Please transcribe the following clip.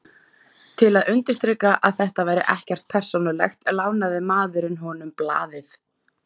Til að undirstrika að þetta væri ekkert persónulegt, lánaði maðurinn honum blaðið.